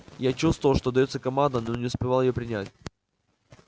я чувствовал что даётся команда но не успевал её принять